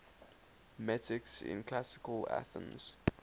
metics in classical athens